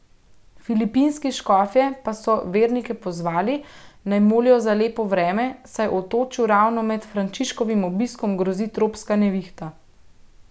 Filipinski škofje pa so vernike pozvali, naj molijo za lepo vreme, saj otočju ravno med Frančiškovim obiskom grozi tropska nevihta.